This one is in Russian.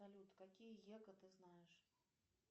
салют какие ягоды знаешь